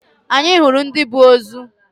Anyị hụrụ ndi bu ozo